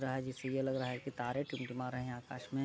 रहा है जिससे यह लग रहा है कि तारे टिमटिमा रहे हैआकाश में ।